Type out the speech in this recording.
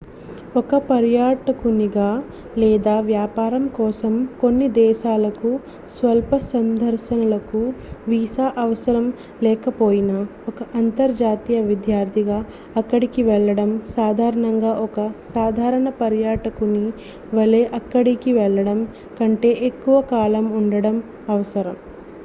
ఒక పర్యాటకునిగా లేదా వ్యాపారం కోసం కొన్ని దేశాలకు స్వల్ప సందర్శనలకు వీసా అవసరం లేకపోయినా ఒక అంతర్జాతీయ విద్యార్థిగా అక్కడికి వెళ్లడం సాధారణంగా ఒక సాధారణ పర్యాటకుని వలె అక్కడికి వెళ్ళడం కంటే ఎక్కువ కాలం ఉండటం అవసరం